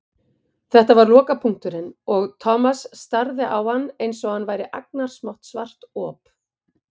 Þetta var lokapunkturinn og Thomas starði á hann einsog hann væri agnarsmátt svart op.